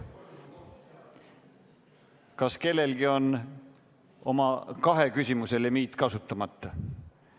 Kas kellelgi on kahe küsimuse limiit kasutamata?